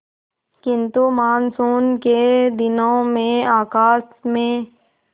किंतु मानसून के दिनों में आकाश में